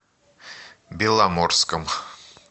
беломорском